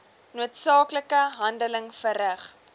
noodsaaklike handeling verrig